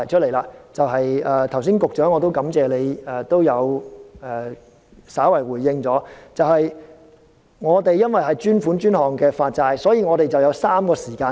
我感謝局長剛才稍為作出回應，由於這是專款專項的發債安排，所以有3個時間點。